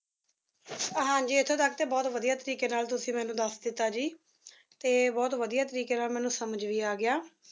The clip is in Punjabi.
ਹਾਂਜੀ ਇੱਥੇ ਤੱਕ ਤਾਂ ਬਹੁਤ ਵਧੀਆ ਤਰੀਕੇ ਨਾਲ ਤੁਸੀ ਮੈਨੂੰ ਦੱਸ ਦਿੱਤਾ ਜੀ ਤੇ ਬਹੁਤ ਵਧੀਆ ਤਰੀਕੇ ਨਾਲ ਮੈਨੂੰ ਸਮਝ ਵੀ ਆ ਗਿਆ